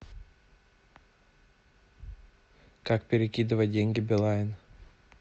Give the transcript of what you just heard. как перекидывать деньги билайн